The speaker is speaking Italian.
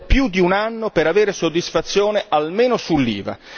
Ci volle più di un anno per avere soddisfazione almeno sull'IVA.